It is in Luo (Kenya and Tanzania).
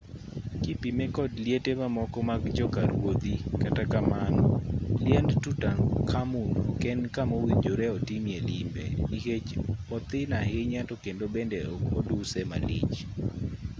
kipime kod liete mamoko mag jo ka ruodhi kata kamano liend tutankhamun ok en kamowinjore otimie limbe nikech othin ahinya to kendo bende ok oduse malich